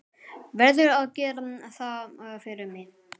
Verður að gera það fyrir mig.